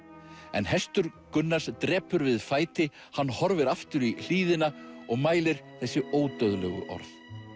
en hestur Gunnars drepur við fæti hann horfir aftur í hlíðina og mælir þessi ódauðlegu orð